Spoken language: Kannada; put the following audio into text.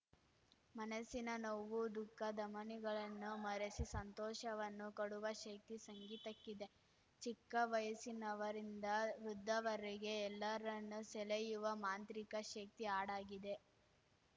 ಮನಸ್ಸಿನ ನೋವು ದುಃಖ ದಮನಿಗಳನ್ನು ಮರೆಸಿ ಸಂತೋಷವನ್ನು ಕೊಡುವ ಶಕ್ತಿ ಸಂಗೀತಕ್ಕಿದೆ ಚಿಕ್ಕವಯಸ್ಸಿನವರಿಂದ ವೃದ್ಧವರೆಗೆ ಎಲ್ಲರನ್ನೂ ಸೆಳೆಯುವ ಮಾಂತ್ರಿಕ ಶಕ್ತಿ ಆಡಾಗಿದೆ